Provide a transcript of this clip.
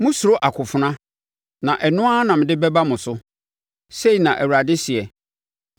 Mosuro akofena, na ɛno ara na mede bɛba mo so, sei na Awurade seɛ.